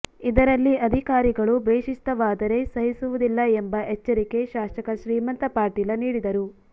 ಇದರಲ್ಲಿ ಅಧಿಕಾರಿಗಳು ಬೇಶಿಸ್ತವಾದರೆ ಸಹಿಸುವದಿಲ್ಲಾ ಎಂಬ ಎಚ್ಚರಿಕೆ ಶಾಸಕ ಶ್ರೀಮಂತ ಪಾಟೀಲ ನೀಡಿದರು